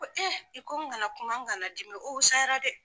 Ko i ko n kana kuma n kana dimi o husayara dɛ.